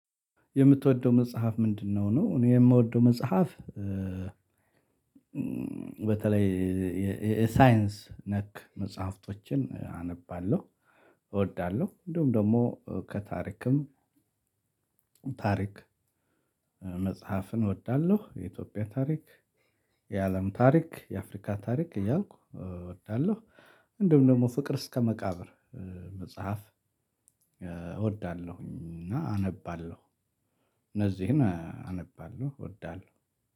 የምትወደው መጽሐፍ ምንድነው? ነው እኔ የምወደው መጽሐፍ። በተለይ የሳይንስ ነክ መጽሐፍቶችን አነባለሁ እወዳለሁ። እንዲሁም ደግሞ ከታሪክም ታሪክ መጽሐፍን እወዳለሁ። የኢትዮጵያ ታሪክ የአለም ታሪክ የአፍሪካ ታሪክ እያልኩ እወዳለሁ። እንዲሁም ደግሞ ፍቅር እስከ መቃብር መጽሐፍ እወዳለሁኝ። እና አነባለሁ እነዚህን አነባለሁ እወዳለሁ።